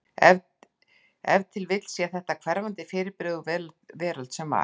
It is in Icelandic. Ef til vill sé þetta hverfandi fyrirbrigði úr veröld sem var.